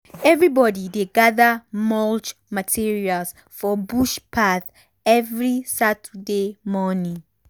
everybody dey gather much materials for bush path every saturday morning.